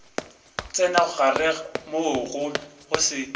tsena gare moo go se